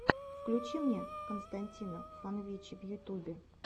включи мне константина фанвинчи в ютубе